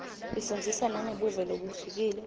ifundzisa nangebuve lobuhlukile